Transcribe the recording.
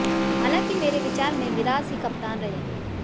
हालांकि मेरे विचार में मिराज ही कप्तान रहेंगे